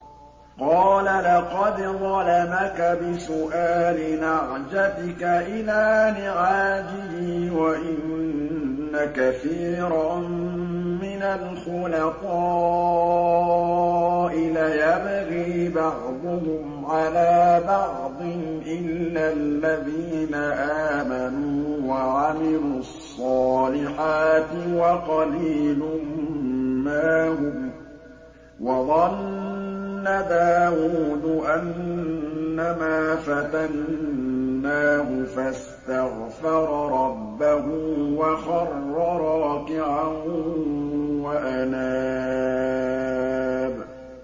قَالَ لَقَدْ ظَلَمَكَ بِسُؤَالِ نَعْجَتِكَ إِلَىٰ نِعَاجِهِ ۖ وَإِنَّ كَثِيرًا مِّنَ الْخُلَطَاءِ لَيَبْغِي بَعْضُهُمْ عَلَىٰ بَعْضٍ إِلَّا الَّذِينَ آمَنُوا وَعَمِلُوا الصَّالِحَاتِ وَقَلِيلٌ مَّا هُمْ ۗ وَظَنَّ دَاوُودُ أَنَّمَا فَتَنَّاهُ فَاسْتَغْفَرَ رَبَّهُ وَخَرَّ رَاكِعًا وَأَنَابَ ۩